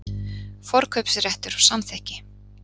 Forkaupsréttur og samþykki.